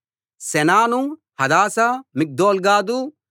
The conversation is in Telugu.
సెనాను హదాషా మిగ్దోల్గాదు